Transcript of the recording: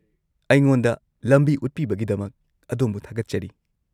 -ꯑꯩꯉꯣꯟꯗ ꯂꯝꯕꯤ ꯎꯠꯄꯤꯕꯒꯤꯗꯃꯛ ꯑꯗꯣꯝꯕꯨ ꯊꯥꯒꯠꯆꯔꯤ꯫